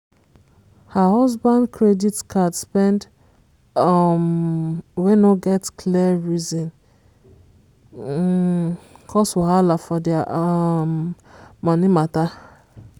her husband credit card spend um wey no get clear reason um cause wahala for their um money mata.